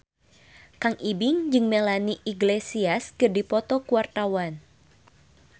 Kang Ibing jeung Melanie Iglesias keur dipoto ku wartawan